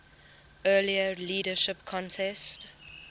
earlier leadership contest